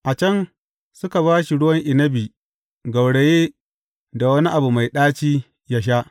A can, suka ba shi ruwan inabi gauraye da wani abu mai ɗaci yă sha.